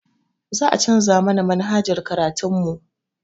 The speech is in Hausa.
Za a canza mana manhajar karatun mu